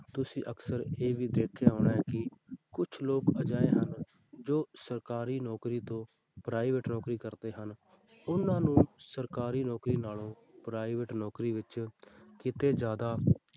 ਤੁਸੀਂ ਅਕਸਰ ਇਹ ਵੀ ਦੇਖਿਆ ਹੋਣਾ ਹੈ ਕਿ ਕੁਛ ਲੋਕ ਅਜਿਹੇ ਹਨ ਜੋ ਸਰਕਾਰੀ ਨੌਕਰੀ ਤੋਂ private ਨੌਕਰੀ ਕਰਦੇ ਹਨ ਉਹਨਾਂ ਨੂੰ ਸਰਕਾਰੀ ਨੌਕਰੀ ਨਾਲੋਂ private ਨੌਕਰੀ ਵਿੱਚ ਕਿਤੇ ਜ਼ਿਆਦਾ